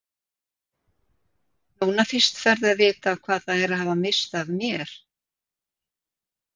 Núna fyrst ferðu að vita hvað það er að hafa misst af mér.